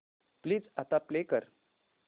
please आता play कर